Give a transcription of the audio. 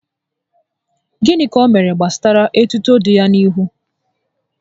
Gịnị ka o mere gbasara etuto dị ya n'ihu?